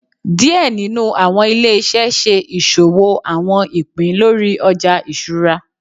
Díẹ̀ nínú àwọn ilé iṣẹ ṣe ìṣòwò àwọn ìpín lórí Ọjà iṣura.